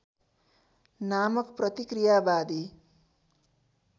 नामक प्रतिक्रियावादी